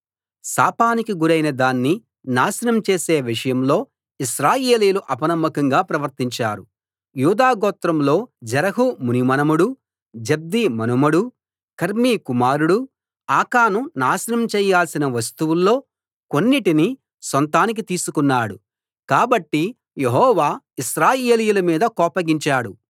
శాపానికి గురైన దాన్ని నాశనం చేసే విషయంలో ఇశ్రాయేలీయులు అపనమ్మకంగా ప్రవర్తించారు యూదాగోత్రంలో జెరహు మునిమనుమడు జబ్ది మనుమడు కర్మీ కుమారుడు ఆకాను నాశనం చేయాల్సిన వస్తువుల్లో కొన్నిటిని సొంతానికి తీసుకున్నాడు కాబట్టి యెహోవా ఇశ్రాయేలీయుల మీద కోపగించాడు